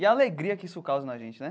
E a alegria que isso causa na gente né.